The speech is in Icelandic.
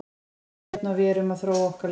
Það kemur seinna og við erum að þróa okkar leik.